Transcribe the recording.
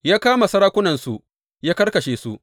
Ya kama sarakunansu ya karkashe su.